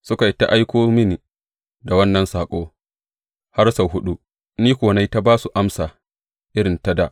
Suka yi ta aiko mini da wannan saƙo har sau huɗu, ni kuwa na yi ta ba su amsa irin ta dā.